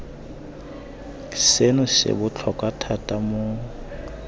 seno se botlhokwa thata mo